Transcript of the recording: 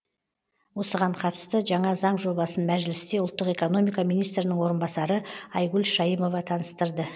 осыған қатысты жаңа заң жобасын мәжілісте ұлттық экономика министрінің орынбасары айгүл шаимова таныстырды